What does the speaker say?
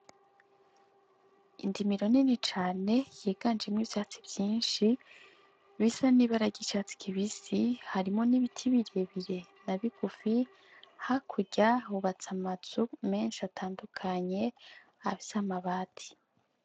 Indimiro nini cane yiganjemwo ivyatsi vyishi bisa n'ibara ry'icatsi kibisi harimwo n'ibiti birebire na bigufi hakurya hubatse amazu meshi atandukanye afise amabati.